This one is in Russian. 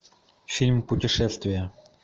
фильм путешествие